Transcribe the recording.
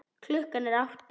Klukkan er átta.